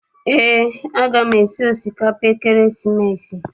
Eé, a gam esi osikapa ekeresimesi.